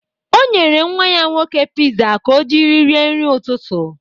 O nyere nnwa ya nwoke piza ka o jiri rie nri ụtụtụ.